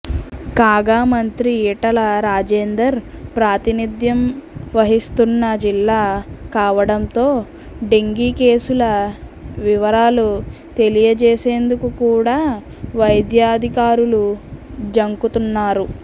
కాగా మంత్రి ఈటల రాజేందర్ ప్రాతినిధ్యం వహిస్తున్న జిల్లా కావడంతో డెంగీ కేసుల వివరాలు తెలియజేసేందుకు కూడా వైద్యాధికారులు జంకుతున్నారు